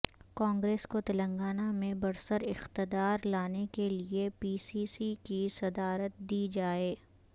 کانگریس کو تلنگانہ میں برسر اقتدار لانے کیلئے پی سی سی کی صدارت دی جائے